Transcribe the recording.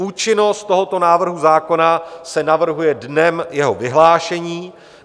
Účinnost tohoto návrhu zákona se navrhuje dnem jeho vyhlášení.